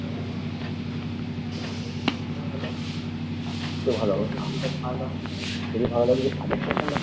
দেখতেও ভালো হ্যাঁ